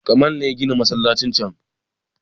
Kamal ne ya gina masallacin can